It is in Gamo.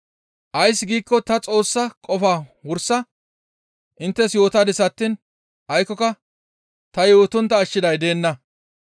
Ays giikko ta Xoossa qofaa wursa inttes yootadis attiin aykkoka ta yootontta ashshiday deenna.